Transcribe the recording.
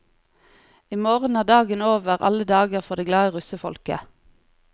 I morgen er dagen over alle dager for det glade russefolket.